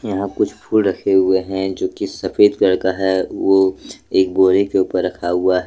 यहां कुछ फूल रखे हुए हैं जो कि सफेद कलर का है वो एक बोरे के ऊपर रखा हुआ है।